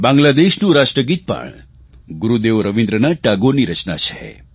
બાંગ્લાદેશનું રાષ્ટ્રગીત પણ ગુરૂદેવ રવીન્દ્રનાથ ટાગોરની રચના છે